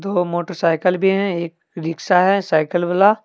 ओ motorcycle भी है ए रिक्शा है साइकल वाला।